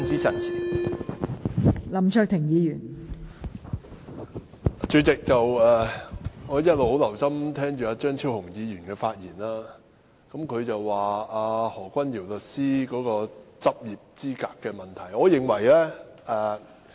代理主席，我一直很留心聆聽張超雄議員的發言，他說何君堯議員的律師執業資格有問題。